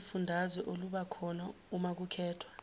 lwezifundazwe olubakhona umakukhethwa